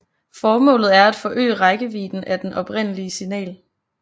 Formålet er at forøge rækkevidden af det oprindelige signal